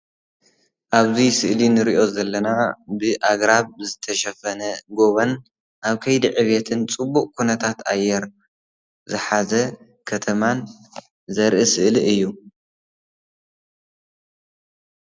ኣብዚ ስእሊ እንሪኦ ዘለና ብኣግራብ ዝተሸፈነ ጎቦን ኣብ ከይዲ ዕቤትን ፅቡቅ ኩነታት ኣየር ዝሓዘ ከተማን ዘርኢ ስእሊ እዩ።